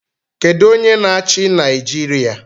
Kedu onye na-achị Naijiria?